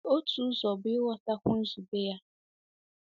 Otu ụzọ bụ ịgwọtakwu nzube ya.